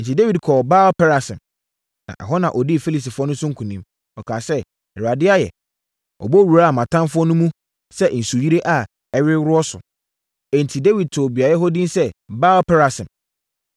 Enti, Dawid kɔɔ Baal-Perasim, na ɛhɔ na ɔdii Filistifoɔ no so nkonim. Ɔkaa sɛ, “ Awurade ayɛ! Ɔbɔ wuraa mʼatamfoɔ no mu sɛ nsuyire a ɛreworo so!” Enti Dawid too beaeɛ hɔ din sɛ Baal-Perasim.